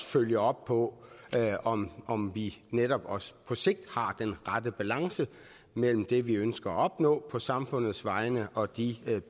følger op på om om vi netop også på sigt har den rette balance mellem det vi ønsker at opnå på samfundets vegne og de